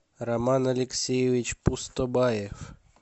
роман алексеевич пустобаев